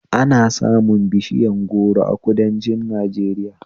Ana samun bishiyar goro a kudanci Najeriya